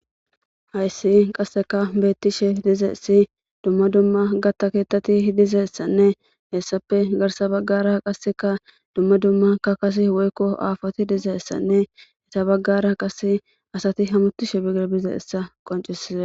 Hayssi qasseka beettishe dizeessi dumma dumma gatta keettati dizeessanne hessappe garsa baggara qasseka dumma dumma kakase woykko aafoti dizeessanne eta baggara qase asati hamutishe biger bizeessa qoncisize.